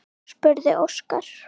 spurði Óskar.